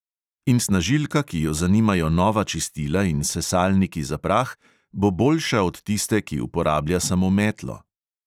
In snažilka, ki jo zanimajo nova čistila in sesalniki za prah, bo boljša od tiste, ki uporablja samo metlo.